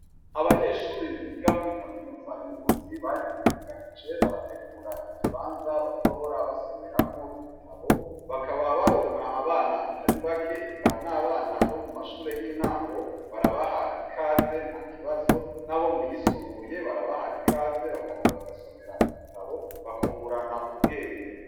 Abanyeshuri biga muri kaminuza y'ingozi bariyungunganije barategura ikibanza bazohora basomeramwo ibitabo bakaba baronka abana atari bake eka n'abana bo mu mashure y'intango barabaha ikaze nta kibazo n'abo muyisumbuye barabaha ikaze bakaza bagasomera ibitaboe kungurana ubwenge.